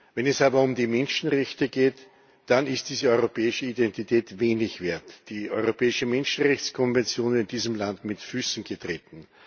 Wenn es aber um die Menschenrechte geht, dann ist diese europäische Identität wenig wert, wird die Europäische Menschenrechtskonvention in diesem Land mit Füßen getreten.